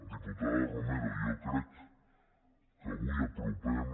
diputada romero jo crec que avui apropem